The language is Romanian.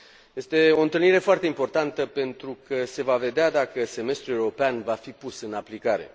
Este o întâlnire foarte importantă pentru că se va vedea dacă Semestrul european va fi pus în aplicare.